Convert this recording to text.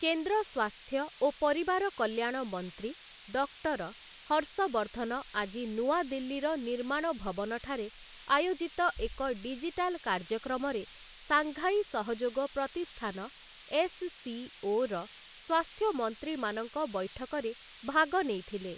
କେନ୍ଦ୍ର ସ୍ୱାସ୍ଥ୍ୟ ଓ ପରିବାର କଲ୍ୟାଣ ମନ୍ତ୍ରୀ ଡକ୍ଟର ହର୍ଷବର୍ଦ୍ଧନ ଆଜି ନୂଆଦିଲ୍ଲୀର ନିର୍ମାଣ ଭବନଠାରେ ଆୟୋଜିତ ଏକ ଡିଜିଟାଲ କାର୍ଯ୍ୟକ୍ରମରେ ସାଂଘାଇ ସହଯୋଗ ପ୍ରତିଷ୍ଠାନ ଏସ୍‍ସିଓ ର ସ୍ୱାସ୍ଥ୍ୟମନ୍ତ୍ରୀମାନଙ୍କ ବୈଠକରେ ଭାଗ ନେଇଥିଲେ ।